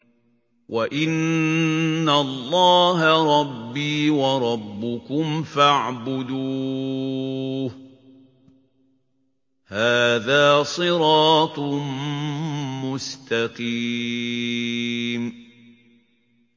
وَإِنَّ اللَّهَ رَبِّي وَرَبُّكُمْ فَاعْبُدُوهُ ۚ هَٰذَا صِرَاطٌ مُّسْتَقِيمٌ